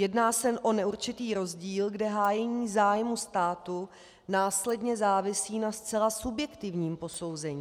Jedná se o neurčitý rozdíl, kde hájení zájmů státu následně závisí na zcela subjektivním posouzení.